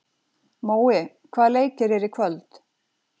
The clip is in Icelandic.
Mói, hvaða leikir eru í kvöld?